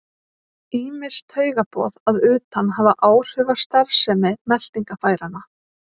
Ýmis taugaboð að utan hafa áhrif á starfsemi meltingarfæranna.